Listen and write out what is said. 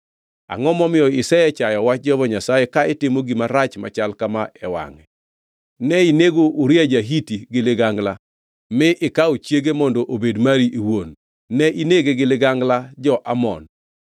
Angʼo momiyo isechayo wach Jehova Nyasaye ka itimo gima rach machal kama e wangʼe? Ne inego Uria ja-Hiti gi ligangla mi ikawo chiege mondo obed mari iwuon. Ne inege gi ligangla jo-Amon.